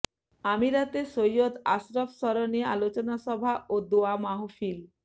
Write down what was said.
আমিরাতে সৈয়দ আশরাফ স্বরণে আলোচনা সভা ও দোয়া মাহফিল